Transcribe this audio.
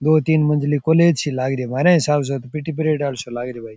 दो तीन मंजिली कॉलेज सी लगरी है महार हिसाब स पीटी प्रेड लाग री है भाई।